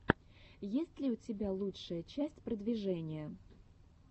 есть ли у тебя лучшая часть продвижения